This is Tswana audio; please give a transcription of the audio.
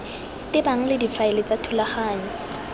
tebang le difaele tsa thulaganyo